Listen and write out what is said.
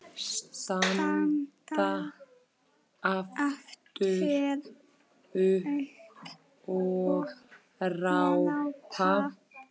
Standa aftur upp og rápa.